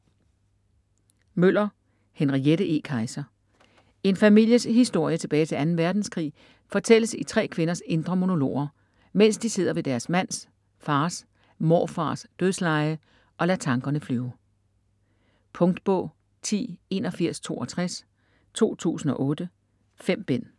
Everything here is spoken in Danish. Møller, Henriette E.: Kaiser En families historie tilbage til 2. verdenskrig fortælles i tre kvinders indre monologer, mens de sidder ved deres mands, fars, morfars dødsleje og lader tankerne flyve. Punktbog 108162 2008. 5 bind.